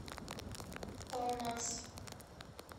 палмас